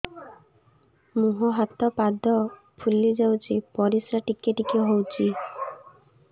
ମୁହଁ ହାତ ପାଦ ଫୁଲି ଯାଉଛି ପରିସ୍ରା ଟିକେ ଟିକେ ହଉଛି